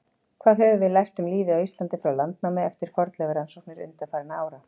Hvað höfum við lært um lífið á Íslandi frá landnámi eftir fornleifarannsóknir undanfarinna ára?